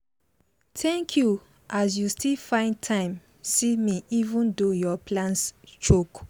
thank you as you still find time see me even though your plans choke.